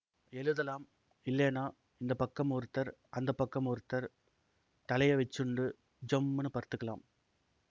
எழுதலாம் இல்லேன்னா இந்த பக்கம் ஒருத்தர் அந்த பக்கம் ஒருத்தர் தலையை வச்சுண்டு ஜம்னு படுத்துக்கலாம்